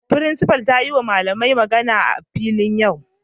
Frincipa'n ta yi ma dalibain magana a'filin yau.